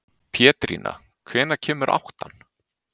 Pétrína, hvenær kemur áttan?